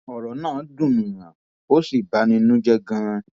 ọrọ náà dùnúnyàn ò sì bà ní nínú jẹ ganan